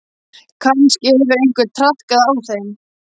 Kannski hefur einhver traðkað á þeim.